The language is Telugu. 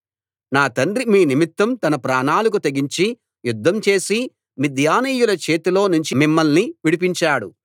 నా తండ్రి మీ నిమిత్తం తన ప్రాణాలకు తెగించి యుద్ధం చేసి మిద్యానీయుల చేతిలో నుంచి మిమ్మల్ని విడిపించాడు